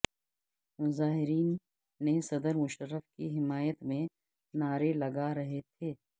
مظاہرین نے صدر مشرف کی حمایت میں نعرے لگا رہے تھے